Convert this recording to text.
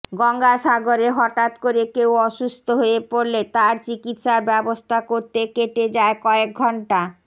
গঙ্গাসাগরে হঠাৎ করে কেউ অসুস্থ হয়ে পড়লে তার চিকিৎসার ব্যবস্থা করতে কেটে যায় কয়েক ঘন্